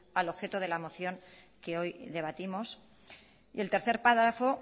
al objeto de la moción que hoy debatimos y el tercer párrafo